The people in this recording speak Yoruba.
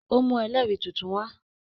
Ó mú ẹlẹ́rìí tuntun wa